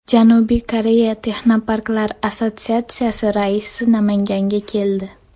Janubiy Koreya Texnoparklar assotsiatsiyasi raisi Namanganga keldi.